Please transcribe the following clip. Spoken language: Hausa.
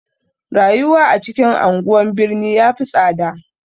Rayuwa a cikin anguwan birni ya fi tsada.